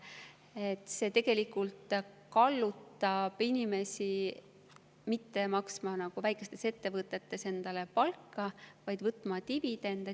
Selline tegelikult kallutab inimesi mitte maksma väikeses ettevõttes endale palka, vaid võtma dividende.